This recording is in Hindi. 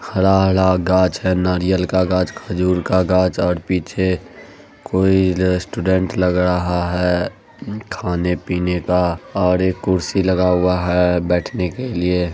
हरा-हरा घाच है नारियल का घाच खजूर का घाच और पीछे कोई रेस्टॉरेंट लग रहा है खाने-पीने का और एक कुर्सी लगा हुआ है बेठने के लिए।